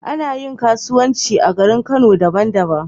Anayin kasuwanci a garin kano daban daban